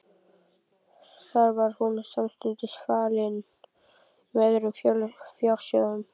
Þar var hún samstundis falin með öðrum fjársjóðum.